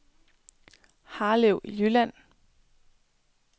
Harlev Jylland